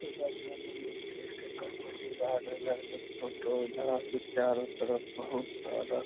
garden आर के photo उधर के चारों तरफ बहुत सारा --